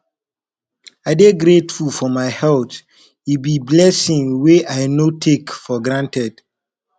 i dey grateful for my health e be blessing wey i no take for granted